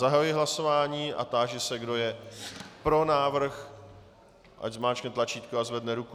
Zahajuji hlasování a táži se, kdo je pro návrh, ať zmáčkne tlačítko a zvedne ruku.